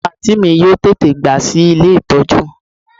Omo anti mi yoo tete gba si ile itoju